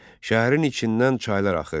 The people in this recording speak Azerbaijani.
Şəhərin içindən çaylar axırdı.